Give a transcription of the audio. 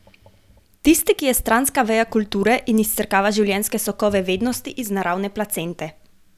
Tisti, ki je stranska veja kulture in izsrkava življenjske sokove vednosti iz naravne placente.